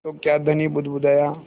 तो क्या धनी बुदबुदाया